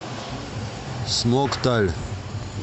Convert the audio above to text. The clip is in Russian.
смокталь